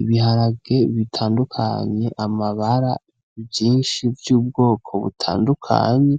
Ibiharage bitandukanye amabara vyinshi vy'ubwoko butandukanye